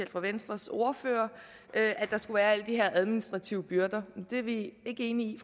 fra venstres ordfører at der skulle være alle de her administrative byrder det er vi ikke enige i